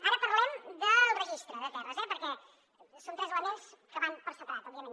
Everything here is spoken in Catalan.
ara parlem del registre de terres eh perquè són tres elements que van per separat òbviament